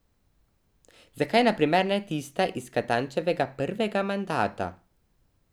Zakaj, na primer, ne tista iz Katančevega prvega mandata?